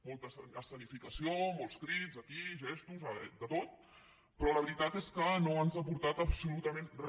molta escenificació molts crits aquí i gestos de tot però la veritat és que no ens ha aportat absolutament re